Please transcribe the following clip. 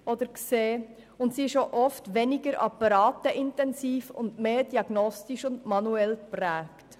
Die Hausarztmedizin ist auch oft weniger apparateintensiv und dafür mehr diagnostisch und manuell geprägt.